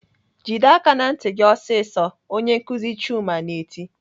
"Jide aka ná ntị gị ọsịsọ!" Onye nkuzi Chuma na-eti.